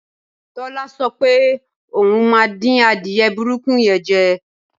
Tọ́lá so̩ pé òun máa dín adìye̩ burúkú ye̩n je̩